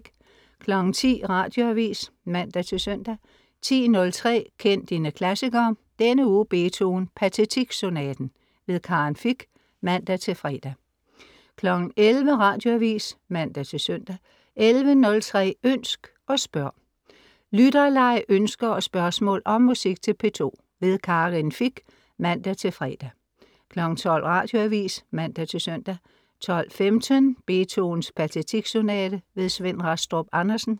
10.00 Radioavis (man-søn) 10.03 Kend dine klassikere. Denne uge Beethoven: Pathetique-sonaten. Karin Fich (man-fre) 11.00 Radioavis (man-søn) 11.03 Ønsk og spørg. Lytterleg, ønsker og spørgsmål om musik til P2. Karin Fich (man-fre) 12.00 Radioavis (man-søn) 12.15 Beethovens Pathetique-sonate. Svend Rastrup Andersen